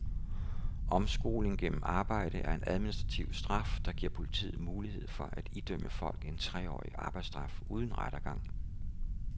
Omskoling gennem arbejde er en administrativ straf, der giver politiet mulighed for at idømme folk en treårig arbejdsstraf uden rettergang.